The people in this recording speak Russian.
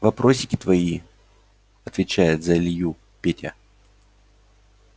вопросики твои отвечает за илью петя